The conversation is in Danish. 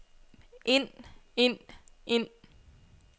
ind ind ind